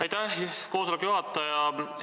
Aitäh, koosoleku juhataja!